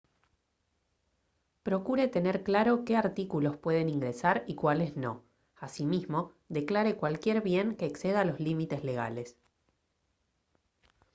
procure tener claro qué artículos pueden ingresar y cuáles no asimismo declare cualquier bien que exceda los límites legales